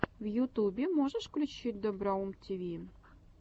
в ютюбе можешь включить доброум тиви